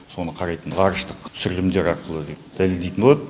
соны қарайтын ғарыштық түсірілімдер арқылы дәлелдейтін болады